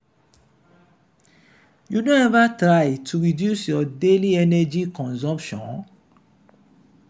you don ever try to reduce your daily energy consumption?